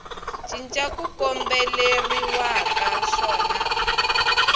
cinca ku kombeleriwaka xona a